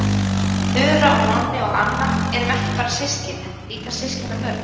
Þura og Nonni og Anna erum ekki bara systkin heldur líka systkinabörn.